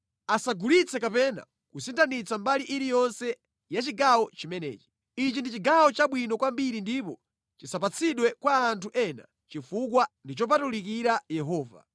Asagulitse kapena kusinthitsa mbali iliyonse ya chigawo chimenechi. Ichi ndi chigawo chabwino kwambiri ndipo chisapatsidwe kwa anthu ena, chifukwa ndi chopatulikira Yehova.